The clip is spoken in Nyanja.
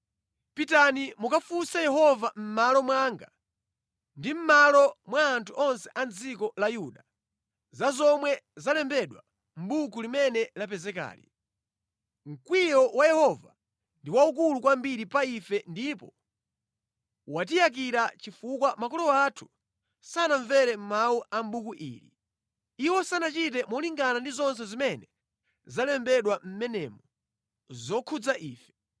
“Pitani mukafunse Yehova mʼmalo mwanga ndi mʼmalo mwa anthu onse a mʼdziko la Yuda, za zomwe zalembedwa mʼbuku limene lapezekali. Mkwiyo wa Yehova ndi waukulu kwambiri pa ife ndipo watiyakira chifukwa makolo athu sanamvere mawu a buku ili. Iwo sanachite molingana ndi zonse zimene zalembedwa mʼmenemu zokhudza ife.”